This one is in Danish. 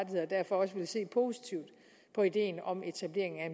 derfor også ville se positivt på ideen om etableringen af